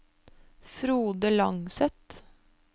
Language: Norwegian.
Frode Langseth